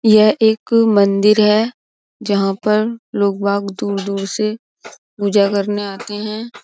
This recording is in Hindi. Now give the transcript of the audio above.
यह एक मंदिर है जहां पर लोकबाग दूर-दूर से पूजा करने आते हैं।